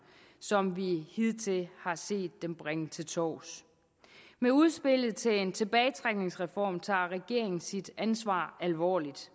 som vi hidtil har set dem bringe til torvs med udspillet til en tilbagetrækningsreform tager regeringen sit ansvar alvorligt